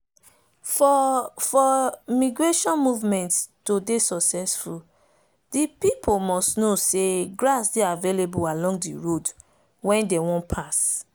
for for migration movement to dey successful the people must know say grass dey avaliable along the road wen them won pass.